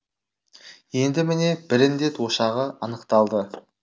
енді міне бір індет ошағы анықталды